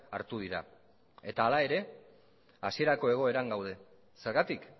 hartu dira eta hala ere hasierako egoeran gaude zergatik